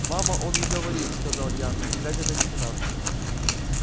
мама он и говорит сказал я глядя на лейтенанта